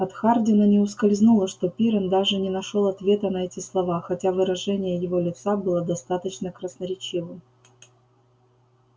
от хардина не ускользнуло что пиренн даже не нашёл ответа на эти слова хотя выражение его лица было достаточно красноречивым